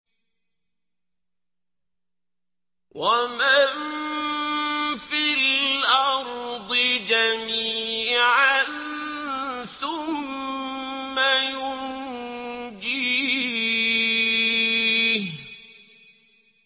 وَمَن فِي الْأَرْضِ جَمِيعًا ثُمَّ يُنجِيهِ